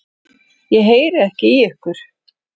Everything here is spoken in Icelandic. Ég heyri ekki í ykkur.